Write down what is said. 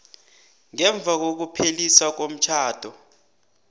ngemva kokupheliswa komtjhado